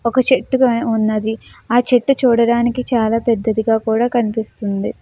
ఒక చెట్టు వున్నది ఆ చెట్టు చూడడానికి చాల పెద్దదిగా కూడా కనిపిస్తునది.